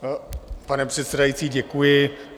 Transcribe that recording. Pane předsedající, děkuji.